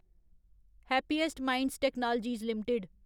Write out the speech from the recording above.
happiest minds technologies limited